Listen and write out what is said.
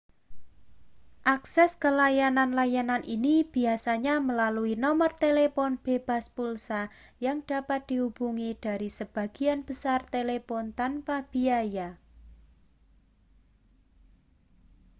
akses ke layanan-layanan ini biasanya melalui nomor telepon bebas pulsa yang dapat dihubungi dari sebagian besar telepon tanpa biaya